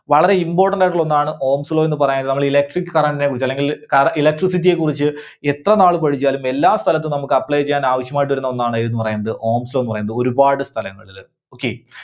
വളരെ important ആയിട്ടുള്ള ഒന്നാണ് Ohm's Law ന്ന് പറയുന്നത് കാരണം Electric Current നെ കുറിച്ച് അല്ലെങ്കിൽ കര~ Electricity യെ കുറിച്ച് എത്രനാള് പഠിച്ചാലും എല്ലാസ്ഥലത്തും നമുക്ക് apply ചെയ്യാൻ ആവശ്യമായിട്ട് വരുന്ന ഒന്നാണ് ഏതെന്ന് പറയുന്നത് Ohm's Law ന്ന് പറയുന്നത്. ഒരുപാട് സ്ഥലങ്ങളില് Okay.